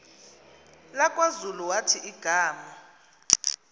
lakwazulu wathi igama